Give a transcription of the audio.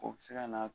O bɛ se ka na